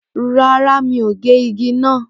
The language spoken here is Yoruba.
Rárá ,mi ò gé igi naa.